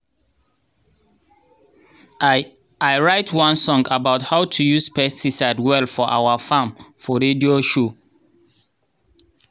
i i write one song about how to use pesticide well for our farm for radio show